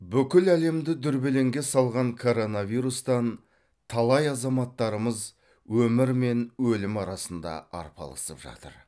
бүкіл әлемді дүрбелеңге салған коронавирустан талай азаматтарымыз өмір мен өлім арасында арпалысып жатыр